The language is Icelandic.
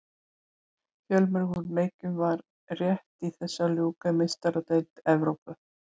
Fjölmörgum leikjum var rétt í þessu að ljúka í Meistaradeild Evrópu.